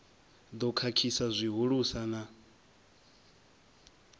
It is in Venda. ḓo khakhisa zwihulusa na u